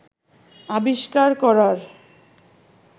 আবিষ্কার করার